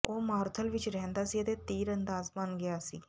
ਉਹ ਮਾਰੂਥਲ ਵਿਚ ਰਹਿੰਦਾ ਸੀ ਅਤੇ ਤੀਰਅੰਦਾਜ਼ ਬਣ ਗਿਆ ਸੀ